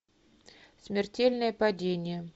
смертельное падение